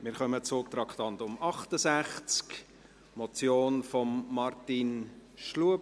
Wir kommen zu Traktandum 68, einer Motion von Martin Schlup.